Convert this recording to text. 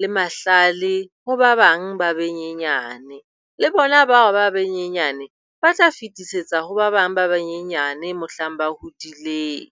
le mahlale ho ba bang ba benyenyane. Le bona bao ba benyenyane ba tla fetisetsa ho ba bang ba banyenyane mohlang ba hodileng.